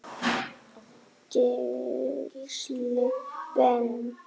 Gísli Ben.